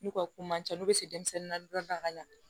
N'u ka ko man ca n'u bɛ se denmisɛnnin na dɔɔni daga ka ɲɛ